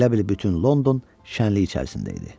Elə bil bütün London şənlik içərisində idi.